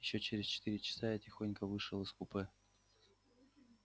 ещё через четыре часа я тихонько вышел из купе